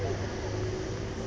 loaded with blocks